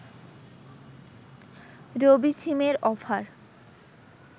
রবি সিমের অফার